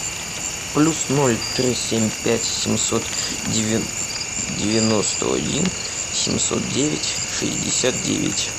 плюс ноль три семь пять семьсот девяносто один семьсот девять шестьдесят девять